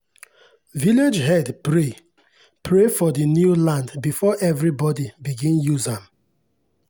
village head pray pray for the new land before everybody begin use am.